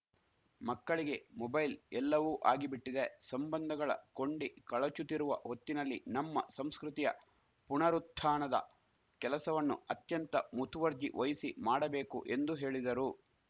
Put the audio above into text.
ಮಕ್ಕಳಿಗೆ ಮೊಬೈಲ್‌ ಎಲ್ಲವೂ ಆಗಿ ಬಿಟ್ಟಿದೆ ಸಂಬಂಧಗಳ ಕೊಂಡಿ ಕಳಚುತ್ತಿರುವ ಹೊತ್ತಿನಲ್ಲಿ ನಮ್ಮ ಸಂಸ್ಕೃತಿಯ ಪುನರುತ್ಥಾಣದ ಕೆಲಸವಣ್ಣು ಅತ್ಯಂತ ಮುತುವರ್ಜಿ ವಹಿಸಿ ಮಾಡಬೇಕು ಎಂದು ಹೇಳಿದರು